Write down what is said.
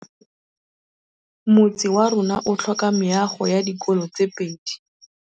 Motse warona o tlhoka meago ya dikolô tse pedi.